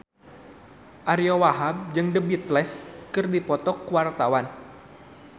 Ariyo Wahab jeung The Beatles keur dipoto ku wartawan